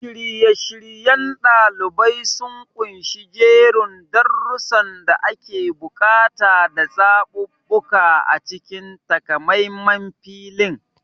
Shirye-shiryen ɗalibai sun ƙunshi jerin darussan da ake buƙata da zaɓaɓɓu a cikin takamaiman filin.